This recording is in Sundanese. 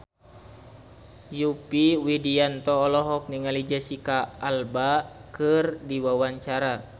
Yovie Widianto olohok ningali Jesicca Alba keur diwawancara